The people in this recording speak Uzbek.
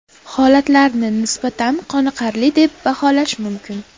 Holatlarini nisbatan qoniqarli deb baholash mumkin.